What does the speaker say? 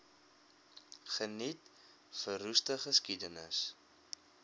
geniet verroeste geskiedenis